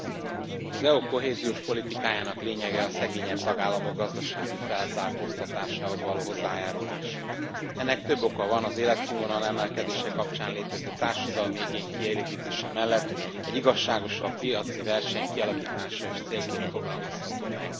Elnök Úr, az EU kohéziós politikájának lényege a szegényebb tagállamok gazdasági felzárkóztatásához való hozzájárulás. Ennek több oka van az életszínvonal emelkedése kapcsán létező társadalmi igény kielégítése mellett egy igazságosabb piaci verseny kialakítása is célként fogalmazható meg.